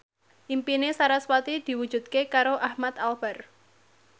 impine sarasvati diwujudke karo Ahmad Albar